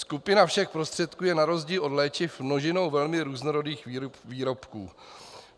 Skupina všech prostředků je na rozdíl od léčiv množinou velmi různorodých výrobků.